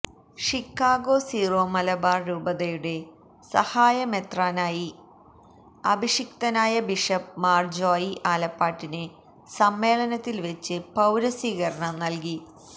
Chicago Syro-Malabar രൂപതയുടെ സഹായമെത്രാനായി അഭിഷിക്തനായ bishop Mar Joy ആലപ്പാട്ടിന് സമ്മേളനത്തിൽ വച്ച് പൌരസ്വീകരണം നൽകി